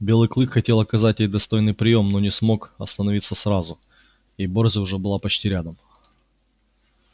белый клык хотел оказать ей достойный приём но не смог остановиться сразу и борзая уже была почти рядом